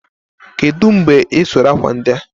kedụ mgbe ị sụrụ akwa ndị a?